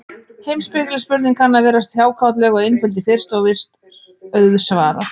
Heimspekileg spurning kann að virðast hjákátleg og einföld í fyrstu, og virst auðsvarað.